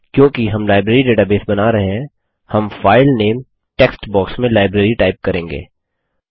क्योंकि हम library database बना रहे हैं हम फाइल नेम टेक्स्ट बॉक्स में लाइब्रेरी टाइप करेंगे